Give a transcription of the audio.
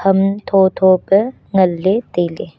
um thotho pe nganley tailey.